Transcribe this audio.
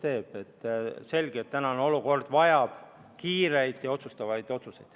Selge see, et praegune olukord nõuab kiireid ja otsustavaid samme.